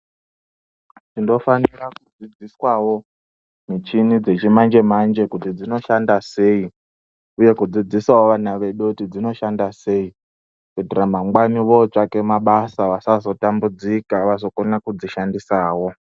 Tinofanira kudzidziswawo michini dzechimanajemanje kuti dzinoshanda sei uye kudzisawo vana vedu kuti dzinoshanda sei kuitira managwani votsvake mabasa vasazotambudzika vazokona kudzishandisawo.